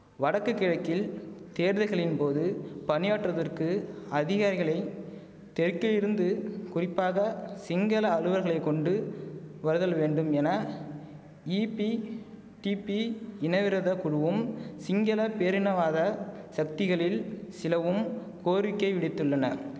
வடக்கு கிழக்கில் தேர்தல்களின் போது பணியாற்றுவதற்கு அதிகாரிகளை தெற்கில் இருந்து குறிப்பாக சிங்கள அலுவலர்களை கொண்டு வருதல் வேண்டும் என ஈபிடிபி இனவிரோத குழுவும் சிங்கள பேரினவாத சக்திகளில் சிலவும் கோரிக்கை விடித்துள்ளனர்